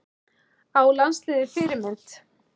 Á landsliðið Fyrirmynd?